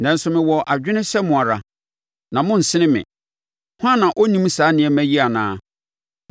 Nanso mewɔ adwene sɛ mo ara na monnsene me. Hwan na ɔnnim saa nneɛma yi nyinaa?